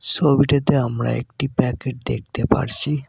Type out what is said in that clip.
সবিটিতে আমরা একটি প্যাকেট দেকতে পারছি।